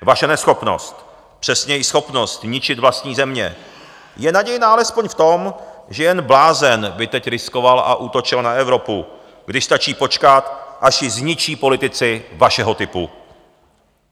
Vaše neschopnost, přesněji schopnost ničit vlastní země, je nadějná alespoň v tom, že jen blázen by teď riskoval a útočil na Evropu, když stačí počkat, až ji zničí politici vašeho typu.